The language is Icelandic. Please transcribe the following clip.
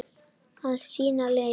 Að sýna lit.